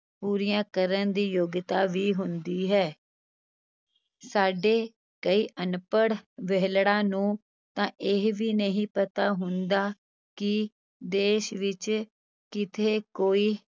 ਪੂਰੀਆਂ ਕਰਨ ਦੀ ਯੋਗਤਾ ਵੀ ਹੁੰਦੀ ਹੈ ਸਾਡੇ ਕਈ ਅਨਪੜ ਵਿਹਲੜਾਂ ਨੂੰ ਤਾਂ ਇਹ ਵੀ ਨਹੀਂ ਪਤਾ ਹੁੰਦਾ ਕਿ ਦੇਸ਼ ਵਿਚ ਕਿੱਥੇ ਕੋਈ